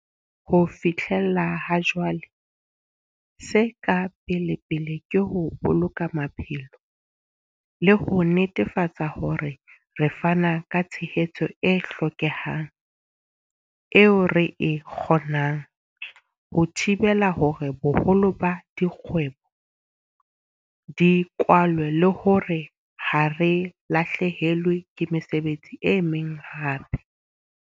Ho fihlela ha jwale, se ka pelepele ke ho boloka maphelo, le ho netefatsa hore re fana ka tshehetso e hlokehang, eo re e kgonang, ho thibela hore boholo ba dikgwebo di kwalwe le hore ha re lahlehelwe ke mesebetsi e meng hape.